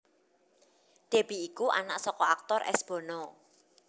Deby iku anak saka aktor S Bono